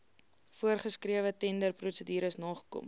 voorsgeskrewe tenderprosedures nakom